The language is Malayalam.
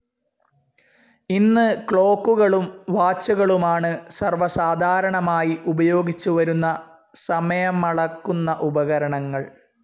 ഇന്ന് ക്ലോക്കുകളും വാച്ചുകളുമാണ് സർവ്വ സാധാരണമായി ഉപയോഗിച്ചുവരുന്ന സമയമളക്കുന്ന ഉപകരണങ്ങൾ.